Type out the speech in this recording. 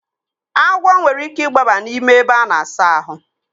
Agwọ nwere ike igbaba n'ime ebe a na-asa ahụ.